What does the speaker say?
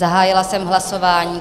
Zahájila jsem hlasování.